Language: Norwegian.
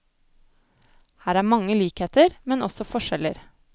Her er mange likheter, men også forskjeller.